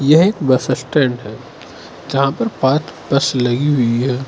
यह bus stand है जहां पर पांच बस लगी हुई है।